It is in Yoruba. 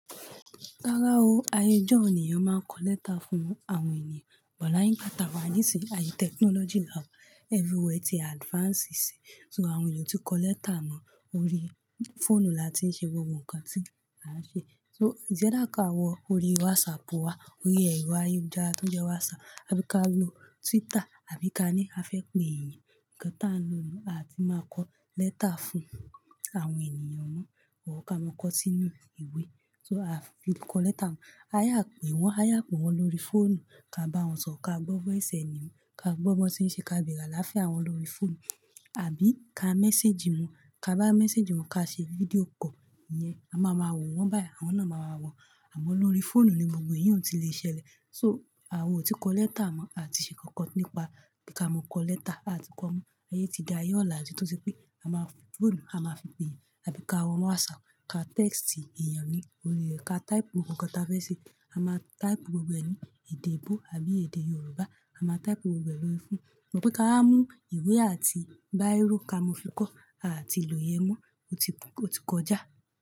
Rárá o, ayé ijó ni èeyàn máa ń kọ lẹ́tà fún àwọn ènìyàn, bọ̀ láì pátá wá nísìí, ayé technology là ń everywhere ti advance sí. So àwọn èeyàn o tí kọ lẹ́tà mọ́, orí fóònù la ti ń ṣe gbogbo nǹkan tí a ń ṣe. So ìjẹ́ dáàká wọ orí WhatsApp wá, orí ẹ̀rọ ayélujára tó ń jẹ́ WhatsApp, àbí ká lọ Twitter, àbí ká ní a fẹ́ pe ènìyàn. Ǹkan tá ń lo inú, a ti máa kọ lẹ́tà fún àwọn ènìyàn mọ́. Or ká mọ kọ sínú ìwé. So a fi kọ lẹ́tà mọ́. A yà pè wọ́n, a yà pe wọ́n lórí fóònù, ká bá wọn sọ̀rọ̀, ká gbọ́ bọ́ ẹ̀sẹ̀ ẹni mọ́, ká gbọ́ bọ́ tí ń ṣe, ká bírà láfẹ̀ẹ́ àwọn lọ́rí fóònù, àbí ká message wọn, ká bá message wọn, ká ṣe fídíò call, ìyẹn. A máa ma wọ̀ wọ́n báyìí, àwọn náà máa wọ̀ wọ́n. Àmọ́ lórí fóònù ni gbogbo èyun ti lè ṣẹlẹ̀. So àwa o ti kọ lẹ́tà mọ́, a ti ṣe kankan nípa pe ká mọ kọ lẹ́tà, a ti kọ ọ́ mọ. Ayé ti dayé ọ̀la tí sepe4í pé a máa fóònù, a máa fi pè ẹ́, àbí ká wọ WhatsApp, ká text èèyàn ní orí rẹ̀, ká type nǹkan tá a fẹ́ ṣe. A máa type gbogbo ẹnì, èdè eebo àbí èdè Yorùbá, a máa type gbogbo ẹ lórí fóònù. Sugbon v ñ me beengbọ́ ká mú ìwé àti bírò ká mọ fi kọ́, a ti lò ẹ̀ mọ́, ó ti kún, ó ti kọjá.